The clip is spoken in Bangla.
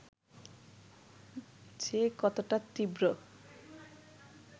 যে কতটা তীব্র